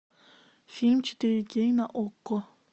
фильм четыре кей на окко